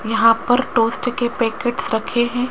यहां पर टोस्ट के पैकेट्स रखे हैं।